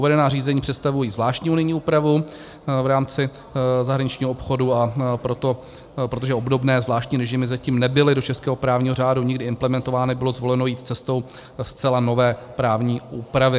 Uvedená řízení představují zvláštní unijní úpravu v rámci zahraničního obchodu, a protože obdobné zvláštní režimy zatím nebyly do českého právního řádu nikdy implementovány, bylo zvoleno jít cestou zcela nové právní úpravy.